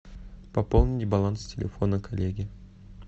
пополнить баланс телефона коллеги